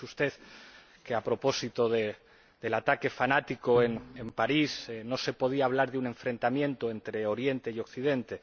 Ha dicho usted que, a propósito del ataque fanático en París, no se podía hablar de un enfrentamiento entre Oriente y Occidente.